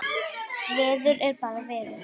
Veður er bara veður.